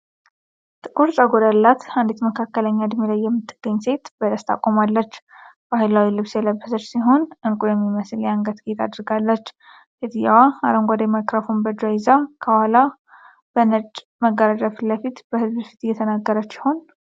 ጥቁር ጸጉር ያላት አንዲት መካከለኛ እድሜ ላይ የምትገኝ ሴት በደስታ ቆማለች። ባህላዊ ልብስ የለበሰች ሲሆን፣ ዕንቁ የሚመስል የአንገት ጌጥ አድርጋለች። ሴትየዋ አረንጓዴ ማይክሮፎን በእጇ ይዛ፣ ከኋላው በነጭ መጋረጃ ፊት ለፊት በህዝብ ፊት ምን እየተናገረች ይሆን?